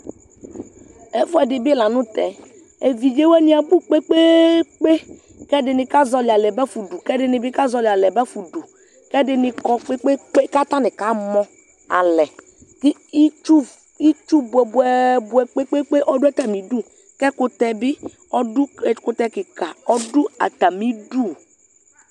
Ɛfuɛdi bi la tɛ, evidze wani abʋ kpekpeekpe, kʋ ɛdini kazɔli alɛ bafa nʋdu, kʋ ɛdini kazɔlialɛ bafa nʋdu, kʋ ɛdini kɔ kpekpeekpe kʋ atani kamɔ alɛ Itsu, itsu bʋɛbʋɛbʋɛ kpekpeekpe ɔdʋ atami idʋ kʋ ɛkʋtɛ bi ɔdʋ, ɛkʋtɛ kika ɔdʋ atami idʋ